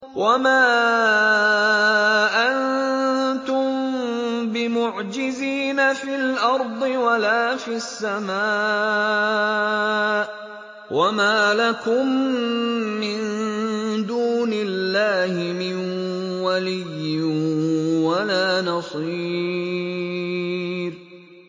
وَمَا أَنتُم بِمُعْجِزِينَ فِي الْأَرْضِ وَلَا فِي السَّمَاءِ ۖ وَمَا لَكُم مِّن دُونِ اللَّهِ مِن وَلِيٍّ وَلَا نَصِيرٍ